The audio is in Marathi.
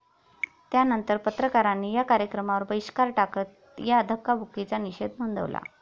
त्यानंतर पत्रकारांनी या कार्यक्रमावर बहिष्कार टाकत या धक्काबुक्कीचा निषेध नोंदवला.